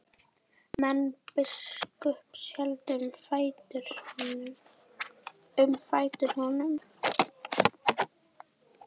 Menn biskups héldu um fætur honum.